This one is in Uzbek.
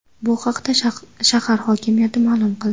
Bu haqda shahar hokimiyati ma’lum qildi .